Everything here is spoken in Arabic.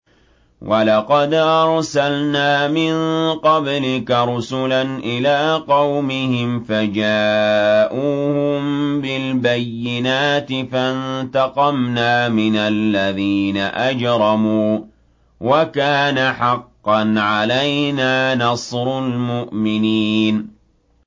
وَلَقَدْ أَرْسَلْنَا مِن قَبْلِكَ رُسُلًا إِلَىٰ قَوْمِهِمْ فَجَاءُوهُم بِالْبَيِّنَاتِ فَانتَقَمْنَا مِنَ الَّذِينَ أَجْرَمُوا ۖ وَكَانَ حَقًّا عَلَيْنَا نَصْرُ الْمُؤْمِنِينَ